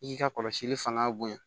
I k'i ka kɔlɔsili fanga bonya